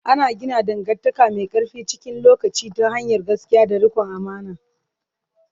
Ana gina dangantaka mai ƙarfi cikin lokaci ta hanyar gaskiya da riƙon amana.